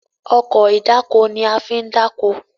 Ọkọ̀ ìdákoní a fín dako.